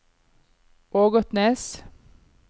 Ågotnes